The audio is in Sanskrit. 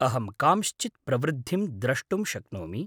अहं कांश्चित् प्रवृद्धिं द्रष्टुं शक्नोमि।